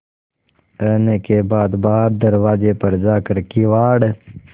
रहने के बाद बाहर दरवाजे पर जाकर किवाड़